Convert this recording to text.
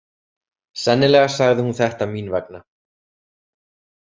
Sennilega sagði hún þetta mín vegna.